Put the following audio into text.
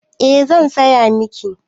Eh zan saya miki